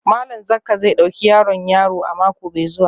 Malam Zakka zai dauki yaron yaro a mako mai zuwa